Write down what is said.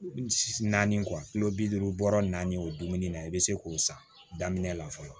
Naani bi duuru bɔra naani o dumuni na i bɛ se k'o san daminɛ la fɔlɔ